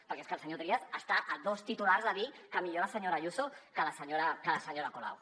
perquè és que el senyor trias està a dos titulars de dir que millor la senyora ayuso que la senyora colau